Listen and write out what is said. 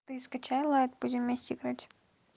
ты скачала это будем вместе играть